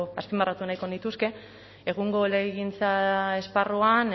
azpimarratu nahiko nituzke egungo legegintza esparruan